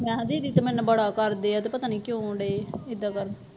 ਮੈਂ ਕਿਹਾ ਦੀਦੀ ਤੇ ਮੈਨੂੰ ਬੜਾ ਕਰਦੇ ਆ ਤੇ ਪਤਾ ਨੀ ਕਿਉਂ ਡੇ ਏਦਾਂ ਗੱਲ